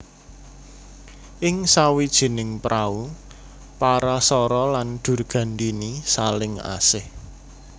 Ing sawijining prau Parasara lan Durgandini saling asih